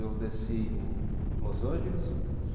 Eu desci em Los Angeles. Uhum.